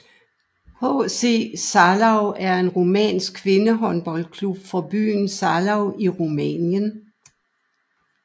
HC Zalău er en rumænsk kvindehåndboldklub fra byen Zalău i Rumænien